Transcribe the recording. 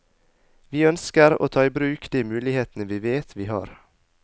Vi ønsker å ta i bruk de mulighetene vi vet vi har.